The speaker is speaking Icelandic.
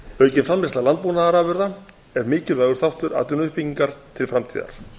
aukin framleiðsla landbúnaðarafurða er mikilvægur þáttur atvinnuuppbyggingar til framtíðar